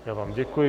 Já vám děkuji.